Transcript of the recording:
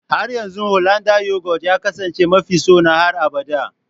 Har yanzu Hollanda yoghurt ya kasance mafi sona har abada